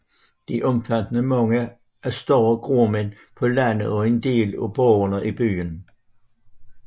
Det omfattede mange af de større gårdmænd på landet og en del af borgerne i byerne